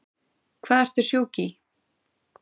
Hvað ertu sjúk í?